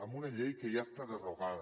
en una llei que ja està derogada